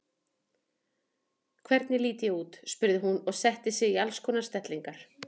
Hvernig lít ég út? spurði hún og setti sig í alls konar stellingar.